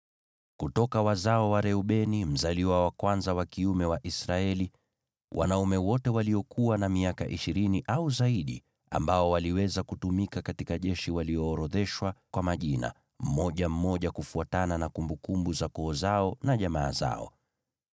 Kutoka wazao wa Reubeni, mzaliwa wa kwanza wa kiume wa Israeli: Wanaume wote waliokuwa na miaka ishirini au zaidi ambao waliweza kutumika katika jeshi waliorodheshwa kwa majina, mmoja mmoja, kufuatana na kumbukumbu za koo zao na jamaa zao.